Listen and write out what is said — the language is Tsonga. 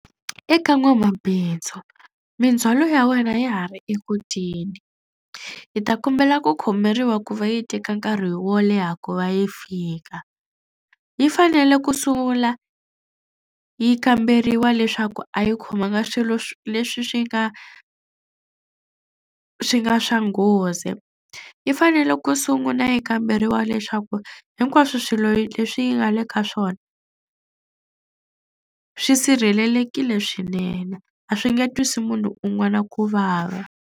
Eka n'wamabindzu mindzhwalo ya wena ya ha ri eku teni. Hi ta kombela ku khomeriwa ku va yi teka nkarhi wo leha ku va yi fika. Yi fanele ku sungula yi kamberiwa leswaku a yi khomanga swilo leswi swi nga swi nga swa nghozi. Yi fanele ku sungula yi kamberiwa leswaku hinkwaswo swilo leswi yi nga le ka swona swi sirhelelekile swinene a swi nge twisi munhu un'wana ku vava.